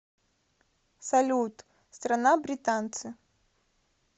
салют страна британцы